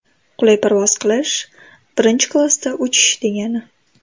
Qulay parvoz qilish birinchi klassda uchish, degani.